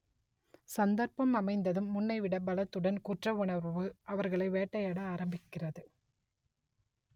சந்தர்ப்பம் அமைந்ததும் முன்னைவிட பலத்துடன் குற்றவுணர்வு அவர்களை வேட்டையாட ஆரம்பிக்கிறது